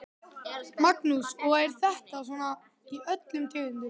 Magnús: Og er þetta svona í öllum tegundum?